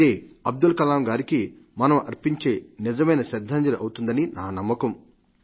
అదే అబ్దుల్ కలాం గారికి మనం అర్పించే నిజమైన శ్రద్ధాంజలి అవుతుందని నా నమ్మకం